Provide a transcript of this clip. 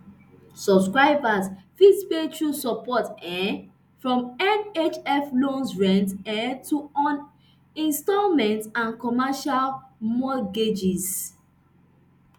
subscribers fit pay through support um from nhf loans rent um to on instalment and commercial mortgages